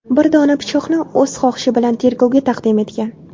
bir dona pichoqni o‘z xohishi bilan tergovga taqdim etgan.